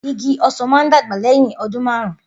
Igi osan maà dagba lẹhin ọdun marun.